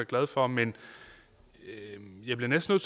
glad for men jeg bliver næsten